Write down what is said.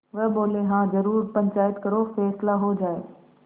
वह बोलेहाँ जरूर पंचायत करो फैसला हो जाय